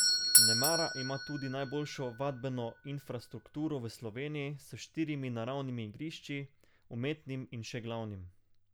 Nemara ima tudi najboljšo vadbeno infrastrukturo v Sloveniji s štirimi naravnimi igrišči, umetnim in še glavnim.